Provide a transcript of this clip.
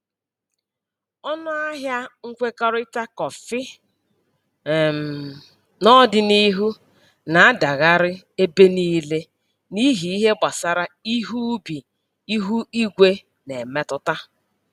Ọnụ ahịa nkwekọrịta kọfị um n'ọdịniihu na-adagharị ebe niile n'ihi ihe gbasara ihe ubi ihu igwe na-emetụta.